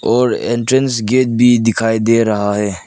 और entrance gate भी दिखाई दे रहा है।